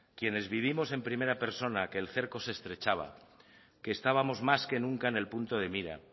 quienes vivimos en primera persona que el cerco se estrechaba que estábamos más que nunca en el punto de mira